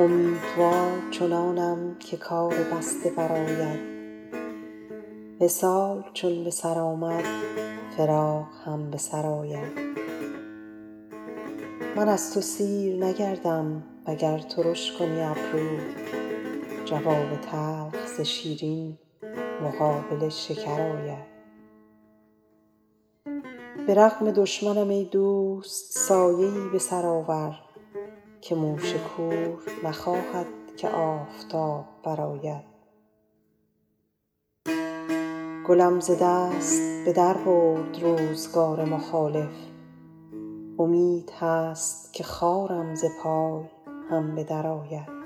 امیدوار چنانم که کار بسته برآید وصال چون به سر آمد فراق هم به سر آید من از تو سیر نگردم وگر ترش کنی ابرو جواب تلخ ز شیرین مقابل شکر آید به رغم دشمنم ای دوست سایه ای به سر آور که موش کور نخواهد که آفتاب برآید گلم ز دست به در برد روزگار مخالف امید هست که خارم ز پای هم به درآید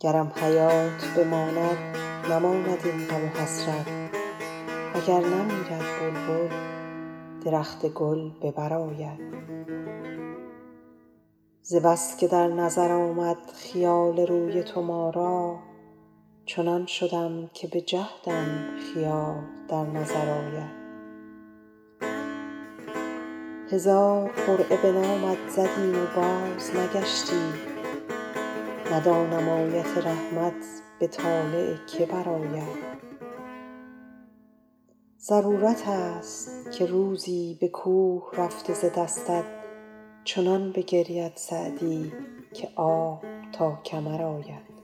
گرم حیات بماند نماند این غم و حسرت و گر نمیرد بلبل درخت گل به بر آید ز بس که در نظر آمد خیال روی تو ما را چنان شدم که به جهدم خیال در نظر آید هزار قرعه به نامت زدیم و بازنگشتی ندانم آیت رحمت به طالع که برآید ضرورت ست که روزی به کوه رفته ز دستت چنان بگرید سعدی که آب تا کمر آید